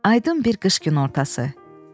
Aydın bir qış günortası.